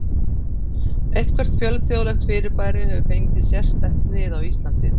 Eitthvert fjölþjóðlegt fyrirbæri hefur fengið sérstætt snið á Íslandi.